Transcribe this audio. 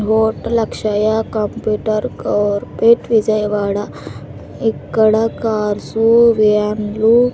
Vote లక్ష అయ్యాక computer corporate Vijayawada ఇక్కడ కార్సు వ్యాన్లు .